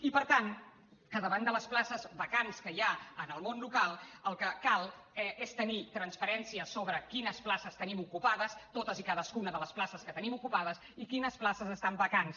i per tant davant de les places vacants que hi ha en el món local el que cal és tenir transparència sobre quines places tenim ocupades totes i cadascuna de les places que tenim ocupades i quines places estan vacants